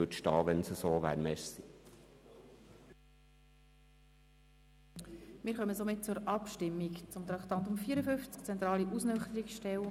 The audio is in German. Falls dem so ist, würde ich erwarten, dass dies im Bericht ersichtlich ist.